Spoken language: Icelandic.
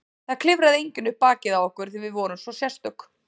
Það klifraði enginn upp bakið á okkur því við vorum svo sérstök.